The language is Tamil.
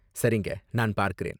சரிங்க, நான் பார்க்கறேன்.